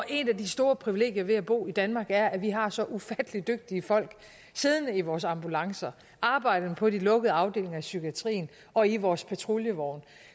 et af de store privilegier ved at bo i danmark er at vi har så ufattelig dygtige folk siddende i vores ambulancer og arbejdende på de lukkede afdelinger i psykiatrien og i vores patruljevogne